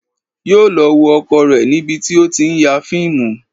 Yóò lọ wo ọkọ rẹ̀ níbi tí ó ti ń ya fíìmù